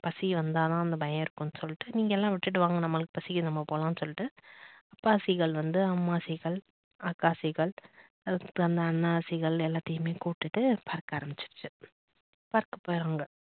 பசி வந்தா தான் அந்த பயம் இருக்குன்னு சொல்லிட்டு நீங்க எல்லா விட்டுட்டு வாங்க நம்பளுக்கு பசிக்குது நம்ம போலாம்னு சொல்லிட்டு அப்பா seegal வந்து அம்மா seegal, அக்கா seegal, அதுக்கு அப்புறம் அந்த அண்ணா seegal எல்லாத்தையுமே கூட்டிட்ட பறக்க ஆரம்பிச்சிடுச்சு பறக்க போயிடுறாங்க